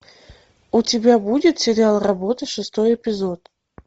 у тебя будет сериал работа шестой эпизод